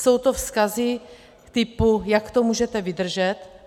Jsou to vzkazy typu: Jak to můžete vydržet?